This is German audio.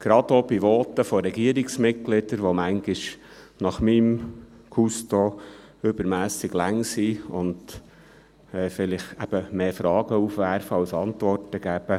Dies gerade auch bei Voten von Regierungsmitgliedern, die manchmal, nach meinem Gusto, übermässig lang sind und vielleicht mehr Fragen aufwerfen als Antworten geben.